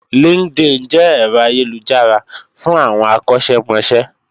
LinkedIn jẹ́ ẹ̀rọ ayélujára fún àwọn akọ́ṣẹ́mọṣẹ́